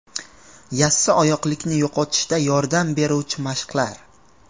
Yassioyoqlikni yo‘qotishda yordam beruvchi mashqlar .